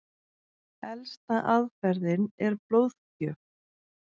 Elsta aðferðin er blóðgjöf.